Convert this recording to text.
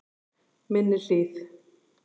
Minni Hlíð